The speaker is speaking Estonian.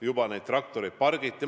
Juba neid traktoreid pargiti.